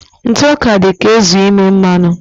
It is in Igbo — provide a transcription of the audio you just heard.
Ntụ ọka dị ga-ezu ime naanụ